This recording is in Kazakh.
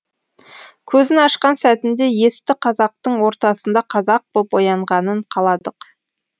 көзін ашқан сәтінде есті қазақтың ортасында қазақ боп оянғанын қаладық